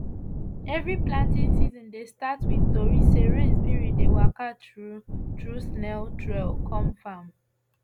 every planting season dey start with tori say rain spirit dey waka through through snail trail come farm